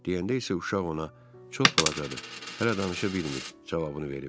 Deyəndə isə uşaq ona çox balacadır, hələ danışa bilmir cavabını verib.